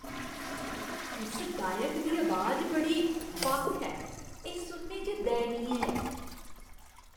उस गायक दी अबाज बड़ी बक्ख ऐ। एह् सुनने च दयनीय ऐ।